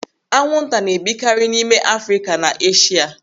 Anwụ nta na-ebikarị n'ime Afrịka na Eshia.